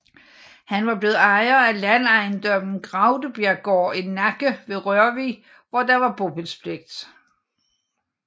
Han var blevet ejer af landejendommen Graudebjerggaard i Nakke ved Rørvig hvor der var bopælspligt